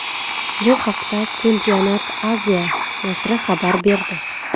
Bu haqda Championat Asia nashri xabar berdi .